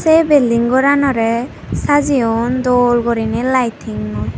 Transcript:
sei building goranorey sajeyon dol guriney lightingoi.